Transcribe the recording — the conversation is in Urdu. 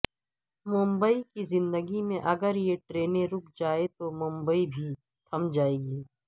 ممبئی کی زندگی میں اگر یہ ٹرینیں رک جائیں تو ممبئی بھی تھم جاتی ہے